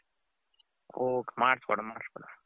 ಓ ಮಾಡಸ್ ಕೊಡನ ಮಾಡಸ್ ಕೊಡನ .